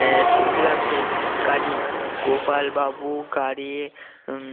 আহ চলতে লাগলো গাড়ি গোপাল বাবু গাড়ি উম